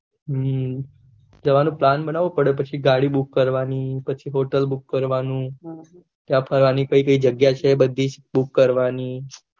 હમ જવાનું પ્લાન બનાવું પડે પછી ગાડી book કરવાની પછી હોટેલ book કરવાનું ત્યાં ફરવાની કઈ કઈ જગ્યા છે એ બધી book કરવાની